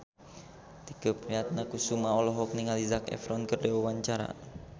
Tike Priatnakusuma olohok ningali Zac Efron keur diwawancara